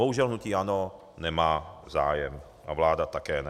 Bohužel, hnutí ANO nemá zájem a vláda také ne.